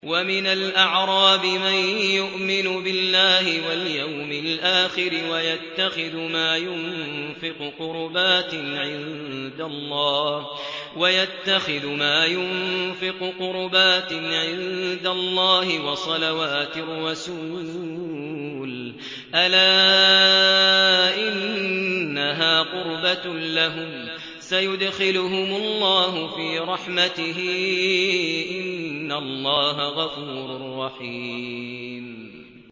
وَمِنَ الْأَعْرَابِ مَن يُؤْمِنُ بِاللَّهِ وَالْيَوْمِ الْآخِرِ وَيَتَّخِذُ مَا يُنفِقُ قُرُبَاتٍ عِندَ اللَّهِ وَصَلَوَاتِ الرَّسُولِ ۚ أَلَا إِنَّهَا قُرْبَةٌ لَّهُمْ ۚ سَيُدْخِلُهُمُ اللَّهُ فِي رَحْمَتِهِ ۗ إِنَّ اللَّهَ غَفُورٌ رَّحِيمٌ